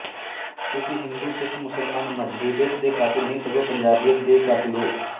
ਤੁਸੀਂ ਹਿੰਦੂਸਿੱਖਮੁਸਲਮਾਨ ਮਜ਼ਹਬੀਅਤ ਦੇ ਕਾਤਿਲ ਨਹੀਂ ਸਗੋਂ ਪੰਜਾਬੀਅਤ ਦੇ ਕਾਤਿਲ ਹੋ